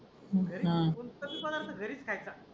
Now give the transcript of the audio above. घरीस हाय का?